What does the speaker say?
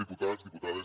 diputats diputades